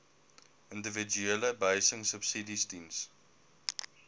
individuele behuisingsubsidies diens